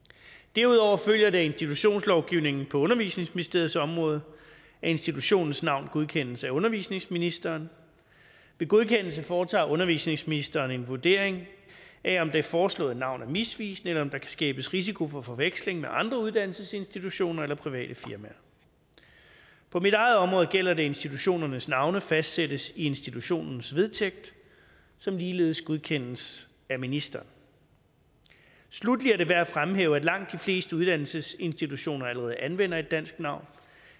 derudover følger det af institutionslovgivningen på undervisningsministeriets område at institutionens navn godkendes af undervisningsministeren ved godkendelsen foretager undervisningsministeren en vurdering af om det foreslåede navn er misvisende eller om der kan skabes risiko for forveksling med andre uddannelsesinstitutioner eller private firmaer på mit eget område gælder det at institutionernes navne fastsættes i institutionens vedtægt som ligeledes godkendes af ministeren sluttelig er det værd at fremhæve at langt de fleste uddannelsesinstitutioner allerede anvender et dansk navn